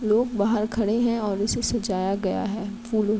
लोग बाहर खड़े हैं और इस में सजाया गया है फूलों --